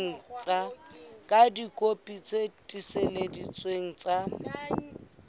ka dikopi tse tiiseleditsweng tsa